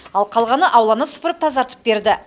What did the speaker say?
ал қалғаны ауланы сыпырып тазартып берді